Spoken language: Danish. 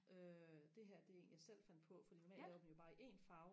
øh det her det er en jeg selv fandt på fordi normalt laver vi jo bare i en farve